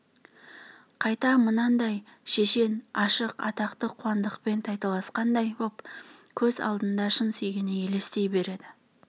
қайта мынандай шешен ашық атақты қуандықпен тайталасқандай боп көз алдына шын сүйгені елестей береді